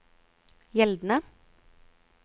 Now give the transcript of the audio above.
gjeldende